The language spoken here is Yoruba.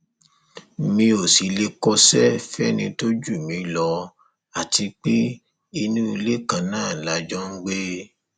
mi ò sì lè kọṣẹ fẹni tó jù mí lọ àti pé inú ilé kan náà la jọ ń gbé